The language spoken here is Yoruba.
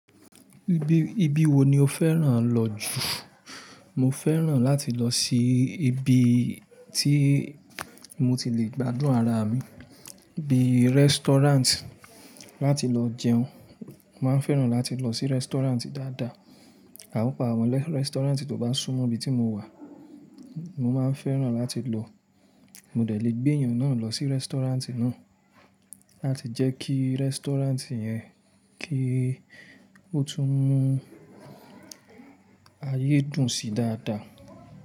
Ibi, ibi wo ni o fẹ́ràn lọ jù? Mo fẹ́ràn láti lọ sí ibi tí mo ti le gbádùn ara mi, bí restaurant láti lọ jẹun. Mo máa ń fẹ́ràn láti lọ sí restaurant dáadáa, pàpà àwọn restaurant tó bá súmọ́ ibi tí mo wà, mo máa fẹ́ràn láti lọ. Mo dẹ̀ le gbé èèyàn náà lọ sí restaurant náà, láti jẹ́ kí restaurant yẹn kí ó tún mú ayé dùn sí dáadáa.